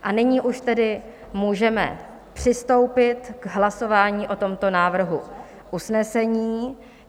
A nyní už tedy můžeme přistoupit k hlasování o tomto návrhu usnesení.